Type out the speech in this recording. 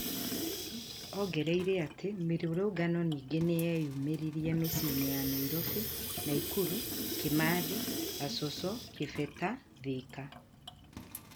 ongereire atĩ mĩrũrũngano ningĩ nĩyeyumĩririe mĩciĩ-inĩ ya nairobi, naikuru, kimathi, gacoco, gibeta, thĩka.